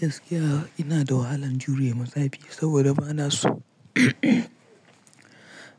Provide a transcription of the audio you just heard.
Gaskiya ina da wahalan jurema zafi saboda bana so